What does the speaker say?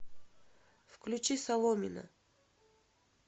включи соломина